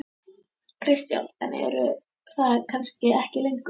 Kristján: En eru það kannski ekki lengur?